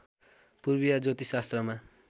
पूर्वीय ज्योतिषशास्त्रमा